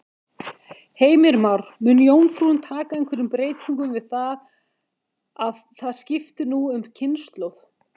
Heimir Már: Mun jómfrúin taka einhverjum breytingum við það að það skipti nú um kynslóð?